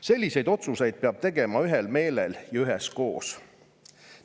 Selliseid otsuseid peab tegema ühel meelel ja üheskoos.